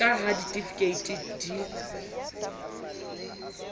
re ka ha ditifikeiti di